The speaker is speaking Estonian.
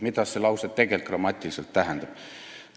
" Mida see lause tegelikult grammatiliselt tähendab?